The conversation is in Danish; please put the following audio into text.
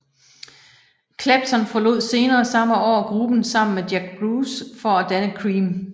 Clapton forlod senere samme år gruppen sammen med Jack Bruce for at danne Cream